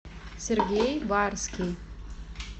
сергей барский